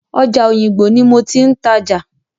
Ọjà Òyìngbò ní mo ti ń tajà.